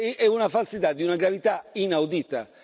è una falsità di una gravità inaudita!